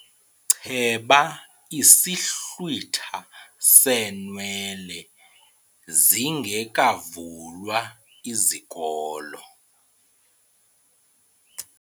Cheba isihlwitha seenwele zingekavulwa izikolo.